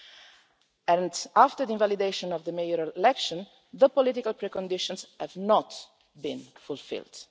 Following the invalidation of the mayoral election, the political preconditions have not been fulfilled.